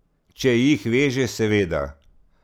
Če jih veže, seveda.